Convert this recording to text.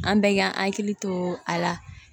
An bɛɛ ka hakili to a la